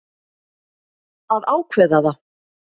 Að ákveða það.